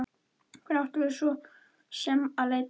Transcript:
Hvert áttum við svo sem að leita?